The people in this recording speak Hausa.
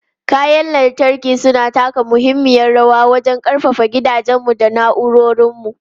Kayan lantarki suna taka muhimmiyar rawa wajen ƙarfafa gidajenmu da na'urorinmu.